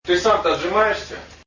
ты сам то отжимаешься